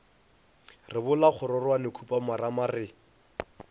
re bola kgororwane khupamarama re